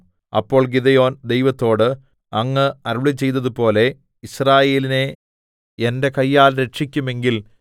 അപ്പോൾ ഗിദെയോൻ ദൈവത്തോട് അങ്ങ് അരുളിച്ചെയ്തതുപോലെ യിസ്രായേലിനെ എന്റെ കയ്യാൽ രക്ഷിക്കുമെങ്കിൽ